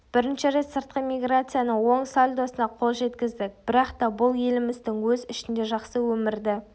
бірінші рет сыртқы миграцияның оң сальдосына қол жеткіздік бірақта бұл еліміздің өз ішінде жақсы өмірді